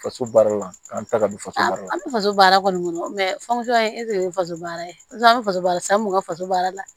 Faso baara la an ta ka du faso baara an bɛ faso baara kɔni kɔnɔ famuso y'a ye faso baara faso baara san mun ka faso baara la